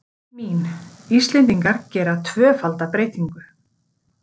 Mín: Íslendingar gera tvöfalda breytingu.